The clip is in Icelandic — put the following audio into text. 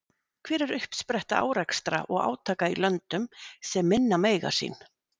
Hver er uppspretta árekstra og átaka í löndum sem minna mega sín?